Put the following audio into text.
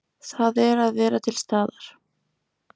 Það er að vera til staðar.